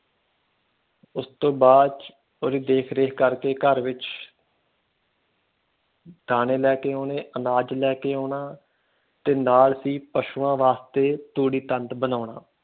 ਉਸ ਤੋਂ ਬਾਅਦ ਚ ਉਸ ਦੀ ਦੇਖ ਰੇਖ ਕੇ ਘਰ ਵਿਚ ਦਾਣੇ ਲੋਕ ਆਉਨੇ ਅਨਾਜ ਲੈਕੇ ਆਉਣਾ ਤੇ ਨਾਲ ਹੀ ਪਸ਼ੂਆਂ ਵਾਸਤੇ ਤੂੜੀ ਤੰਦ ਬਣੋਨਾ।